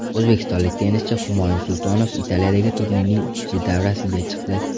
O‘zbekistonlik tennischi Humoyun Sultonov Italiyadagi turnirning ikkinchi davrasiga chiqdi.